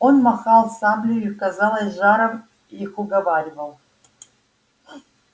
он махал саблею и казалось с жаром их уговаривал